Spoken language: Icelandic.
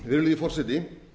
virðulegi forseti